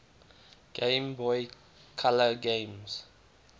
game boy color games